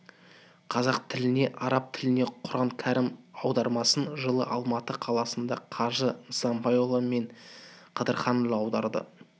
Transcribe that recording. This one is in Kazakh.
қазақ тіліне араб тілінен құран кәрім аудармасын жылы алматы қаласынан қажы нысанбайұлы мен қыдырханұлы аударды